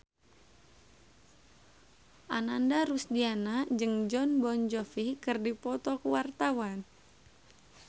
Ananda Rusdiana jeung Jon Bon Jovi keur dipoto ku wartawan